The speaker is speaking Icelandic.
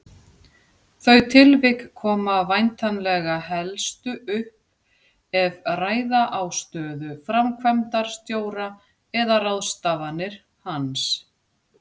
Þau tilvik koma væntanlega helstu upp ef ræða á stöðu framkvæmdastjóra eða ráðstafanir hans.